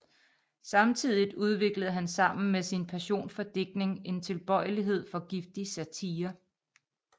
Samtidigt udviklede han sammen med sin passion for digtning en tilbøjelighed for giftig satire